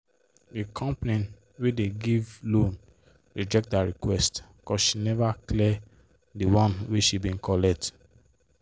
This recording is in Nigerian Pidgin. the company wey dey give loan reject her request cos she never clear the one wey she bin collect